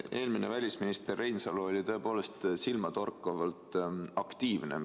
Eelmine välisminister Reinsalu oli tõepoolest silmatorkavalt aktiivne.